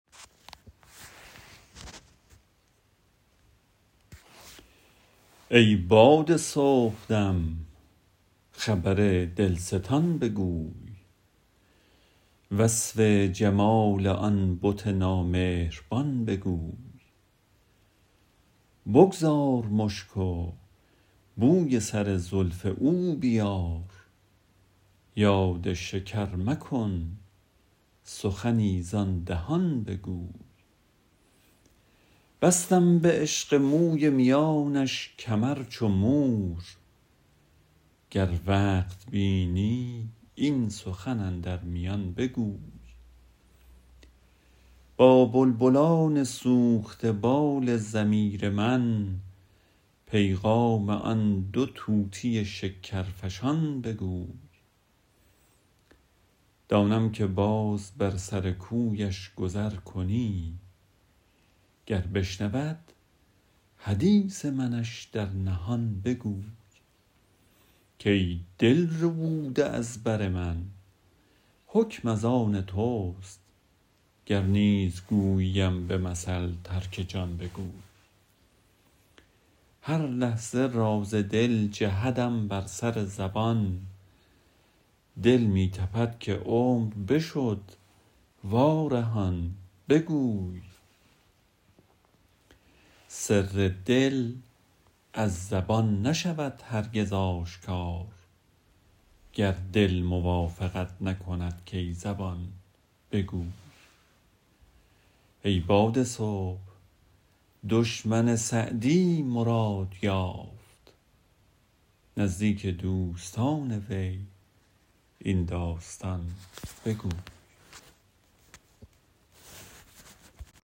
ای باد صبحدم خبر دلستان بگوی وصف جمال آن بت نامهربان بگوی بگذار مشک و بوی سر زلف او بیار یاد شکر مکن سخنی زآن دهان بگوی بستم به عشق موی میانش کمر چو مور گر وقت بینی این سخن اندر میان بگوی با بلبلان سوخته بال ضمیر من پیغام آن دو طوطی شکرفشان بگوی دانم که باز بر سر کویش گذر کنی گر بشنود حدیث منش در نهان بگوی کای دل ربوده از بر من حکم از آن توست گر نیز گوییم به مثل ترک جان بگوی هر لحظه راز دل جهدم بر سر زبان دل می تپد که عمر بشد وارهان بگوی سر دل از زبان نشود هرگز آشکار گر دل موافقت نکند کای زبان بگوی ای باد صبح دشمن سعدی مراد یافت نزدیک دوستان وی این داستان بگوی